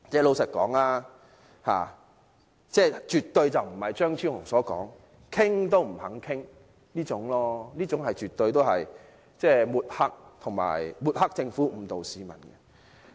老實說，政府絕對不是如張超雄議員所說般完全不願意討論，這說法絕對是抹黑政府，誤導市民。